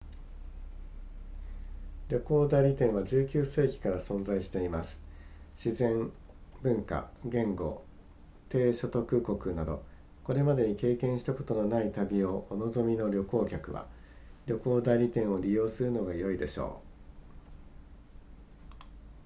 旅行代理店は19世紀から存在しています自然文化言語低所得国などこれまでに経験したことのない旅をお望みの旅行客は旅行代理店を利用するのが良いでしょう